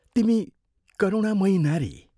तिमी करुमामयी नारी!